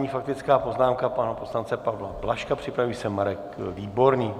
Nyní faktická poznámka pana poslance Pavla Blažka, připraví se Marek Výborný.